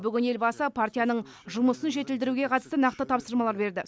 бүгін елбасы партияның жұмысын жетілдіруге қатысты нақты тапсырмалар берді